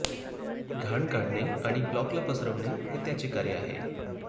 घाण काढणे आणि ब्लॉकला पसरवणे हे त्याचे कार्य आहे